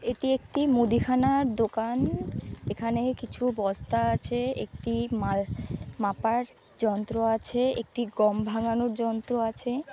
এটি একটি মুদিখানার দোকান এখানে কিছু বস্তা আছে একটি মাল মাপার যন্ত্র আছে একটি গম ভাঙানোর যন্ত্র আছে--